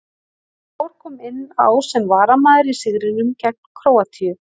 Mor kom inn á sem varamaður í sigrinum gegn Króatíu.